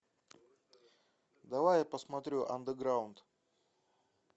давай я посмотрю андеграунд